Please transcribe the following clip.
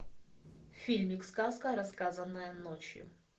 фильмик сказка рассказанная ночью